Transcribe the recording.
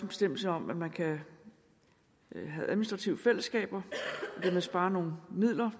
bestemmelse om at man kan have administrative fællesskaber og dermed spare nogle midler